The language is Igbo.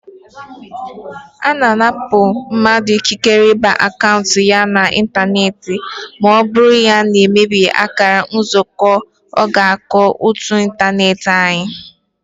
Ana anapụ mmadụ ikikere ịba n'akaụntụ ya na ịntanetị ma ọ bụrụ na ọ mebie akara ntuziaka ọgbakọ ótú ịntanetị anyị